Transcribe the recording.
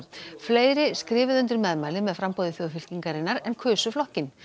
fleiri skrifuðu undir meðmæli með framboði en kusu flokkinn